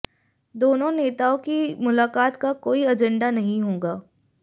दोनों नेताओं की मुलाकात का कोई एजेंडा नहीं होगा